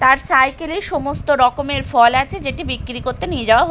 তার সাইকেল -এ সমস্ত রকমের ফল আছে যেটি বিক্রি করতে নিয়ে যাওয়া হ--